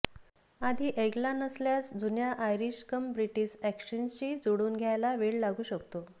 आधी ऐकला नसल्यास जुन्या आयरिश कम ब्रिटिश अॅक्सेंटशी जुळवून घ्यायला वेळ लागू शकतो